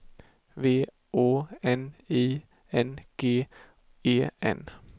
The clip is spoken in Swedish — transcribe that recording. V Å N I N G E N